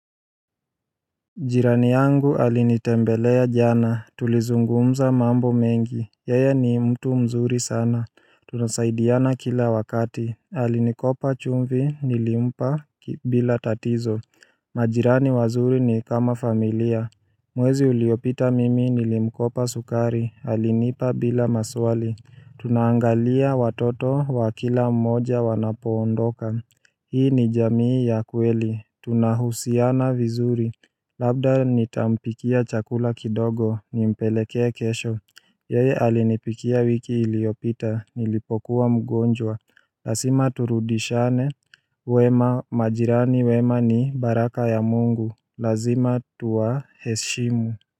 Jirani yangu alinitembelea jana, tulizungumza mambo mengi, yeye ni mtu mzuri sana Tunasaidiana kila wakati, alinikopa chumvi, nilimpa bila tatizo Majirani wazuri ni kama familia Mwezi uliopita mimi nilimkopa sukari, alinipa bila maswali Tunaangalia watoto wa kila mmoja wanapoondoka Hii ni jamii ya kweli, tunahusiana vizuri Labda nitampikia chakula kidogo, nimpelekee kesho Yeye alinipikia wiki iliyopita, nilipokuwa mgonjwa Lazima turudishane, wema majirani wema ni baraka ya Mungu Lazima tuwaheshimu.